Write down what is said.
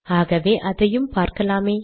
ஆகவே அதையும் பார்க்கலாமே